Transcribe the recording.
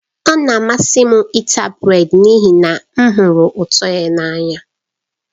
Ọ na-amasị m ịta brèd n'ihi na m hụrụ ụtọ ya n'anya.